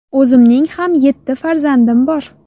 O‘zimning ham yetti farzandim bor.